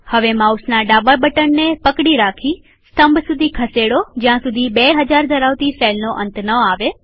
હવે માઉસના ડાબા બટનને પકડી રાખીસ્તંભ સુધી ખસેડો જ્યાં સુધી 2000 ધરાવતી સેલનો અંત ના આવે